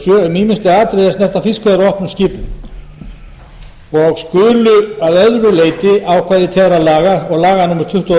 um ýmis þau atriði er snerta fiskveiðar á opnum skipum og skulu að öðru leyti ákvæði þeirra laga og laga númer tuttugu og þrjú